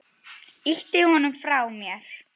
Ýti honum frá mér.